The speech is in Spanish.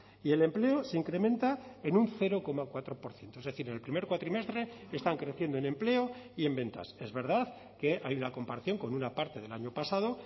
y el empleo se incrementa en un cero coma cuatro por ciento es decir en el primer cuatrimestre están creciendo en empleo y en ventas es verdad que hay una comparación con una parte del año pasado